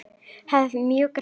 Hann hafði mjúkar hendur.